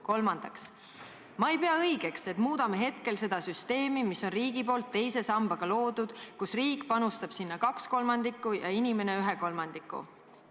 Kolmandaks: "Ma ei pea õigeks, et muudame hetkel seda süsteemi, mis on riigi poolt teise sambaga loodud, kus riik panustab sinna kaks kolmandikku ja inimene ühe kolmandiku.